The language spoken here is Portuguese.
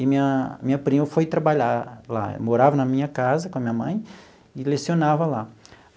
E minha minha prima foi trabalhar lá, morava na minha casa com a minha mãe e lecionava lá.